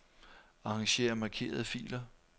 Arranger markerede filer.